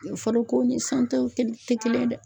Fɔlɔko ni san taw tɛ kelen ye dɛ.